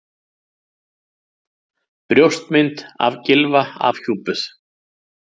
Brjóstmynd af Gylfa afhjúpuð